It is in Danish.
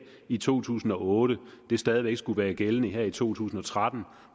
i to tusind og otte stadig væk skulle være gældende her i to tusind og tretten